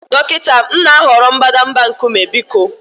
dọkịta, m na-ahọrọ mbadamba nkume biko